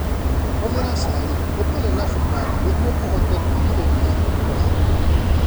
Hũthĩra cai ũtarĩ na cukari nĩguo ũhote kwĩgirĩrĩria kũneneha.